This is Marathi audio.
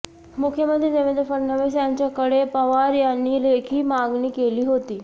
मुख्यमंत्री देवेंद्र फडणवीस यांच्याकडे पवार यांनी लेखी मागणी केली होती